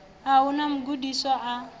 a hu na mugudiswa a